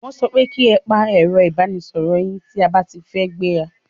Wọ́n so pe ki e pa ẹ̀ro ìbánisoro yín tí a ba ti fẹ́ gbẹ́ra!